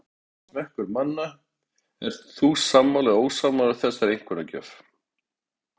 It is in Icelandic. Misjafn er smekkur manna, Ert þú sammála eða ósammála þessari einkunnagjöf?